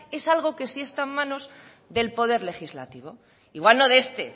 es algo que sí está en manos del poder legislativo igual no de este